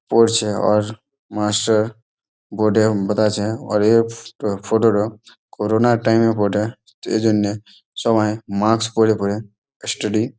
পড়ছে আর master board এ বাতাছে আর এই ফ ফটো টা করোনার টাইম - এর বটে ।এ জন্যে সবাই মাক্স পড়ে পড়ে স্টাডি --